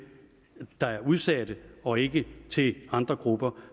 der er udsatte og ikke til andre grupper